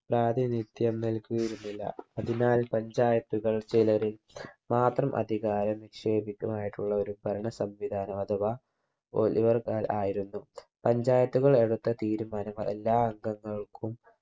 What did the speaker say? പ്രാധിനിത്യം നൽകിയിരുന്നില്ല അതിനാൽ panchayat കൾ ചിലര് മാത്രം അധികാരം നിക്ഷേപിക്കുകമായിട്ടുള്ള ഒരു ഭരണ സംവിധാനം അഥവാ ഒലിവർ ഖാൻ ആയിരുന്നു panchayat കൾ എടുത്ത തീരുമാനങ്ങൾ എല്ലാ അംഗങ്ങൾക്കും